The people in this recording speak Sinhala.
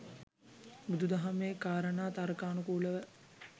බුදු දහමේ කාරණා තර්කානුකූලව